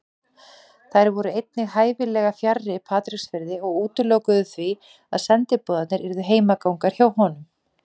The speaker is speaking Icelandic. Þær voru einnig hæfilega fjarri Patreksfirði og útilokuðu því að sendiboðarnir yrðu heimagangar hjá honum.